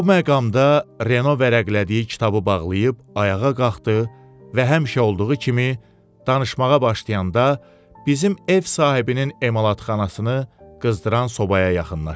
Bu məqamda Reno vərəqlədiyi kitabı bağlayıb ayağa qalxdı və həmişə olduğu kimi danışmağa başlayanda, bizim ev sahibinin emalətxanasını qızdıran sobaya yaxınlaşdı.